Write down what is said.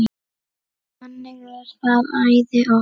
Þannig er það æði oft.